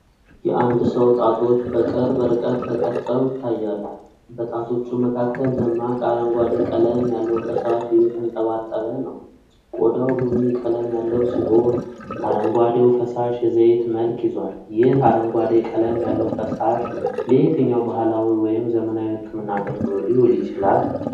የአንድ ሰው ጣቶች በቅርብ ርቀት ተቀርጸው ይታያሉ፤ በጣቶቹ መካከል ደማቅ አረንጓዴ ቀለም ያለው ፈሳሽ እየተንጠባጠበ ነው። ቆዳው ቡኒ ቀለም ያለው ሲሆን፣ አረንጓዴው ፈሳሽ የዘይት መልክ ይዟል። ይህ አረንጓዴ ቀለም ያለው ፈሳሽ ለየትኛው ባህላዊ ወይም ዘመናዊ የህክምና አገልግሎት ሊውል ይችላል?